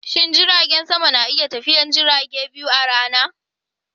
Shin jiragen sama na iya tafiyar jirage biyu a rana?